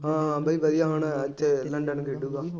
ਹਾਂ ਹਾਂ ਬਾਈ ਵਧੀਆਂ ਹੁਣ ਕਿੰਨਾ ਕੁ ਟਾਈਮ ਖੇਡੂਗਾ,